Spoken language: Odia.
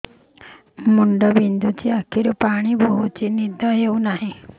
ମୁଣ୍ଡ ବିନ୍ଧୁଛି ଆଖିରୁ ପାଣି ଗଡୁଛି ନିଦ ହେଉନାହିଁ